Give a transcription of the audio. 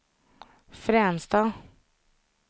Fränsta